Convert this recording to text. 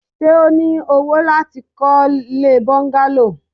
Ṣé o ní owó láti kọ́ ilée bọ́ńgálò?